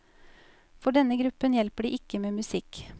For denne gruppen hjelper det ikke med musikk.